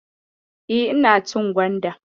E, ina cin gwanda.